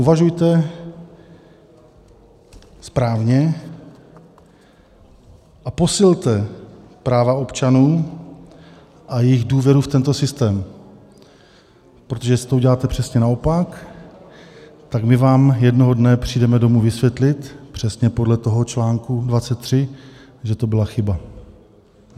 Uvažujte správně a posilte práva občanů a jejich důvěru v tento systém, protože jestli to uděláte přesně naopak, tak my vám jednoho dne přijdeme domu vysvětlit - přesně podle toho článku 23 - že to byla chyba.